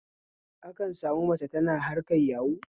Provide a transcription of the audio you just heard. Akan sami mace tana harkar yahu